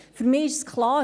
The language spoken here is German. Für mich ist klar: